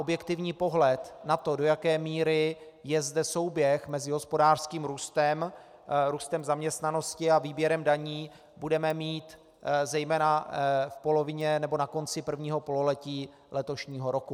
Objektivní pohled na to, do jaké míry je zde souběh mezi hospodářským růstem, růstem zaměstnanosti a výběrem daní, budeme mít zejména v polovině nebo na konci prvního pololetí letošního roku.